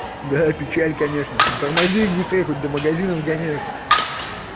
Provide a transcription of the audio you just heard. да печаль конечно но тормози их быстрее хоть до магазина сгоняют